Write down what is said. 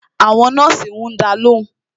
Àwọn nọ́ọ̀sì ń dá lóhùn